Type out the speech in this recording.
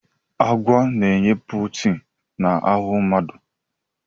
Agwa na-enye protin na ahụ mmadụ.